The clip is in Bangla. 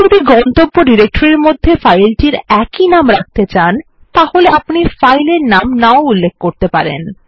আপনি যদি গন্তব্য ডিরেক্টরির মধ্যে ফাইলটির একই নাম রাখতে চান তাহলে আপনি ফাইল এর নাম না উল্লেখ করতে পারেন